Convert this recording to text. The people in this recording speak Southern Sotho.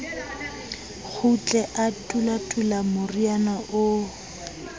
kgutle a tulatula moriana oo